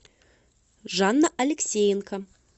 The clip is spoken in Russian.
жанна алексеенко